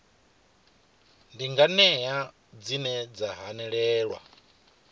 ndi nganea dzine dza hanelelwa